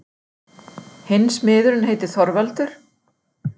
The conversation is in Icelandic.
Hinn smiðurinn heitir Þorvaldur.